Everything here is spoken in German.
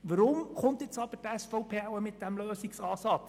Weshalb kommt nun aber die SVP mit diesem Lösungsansatz?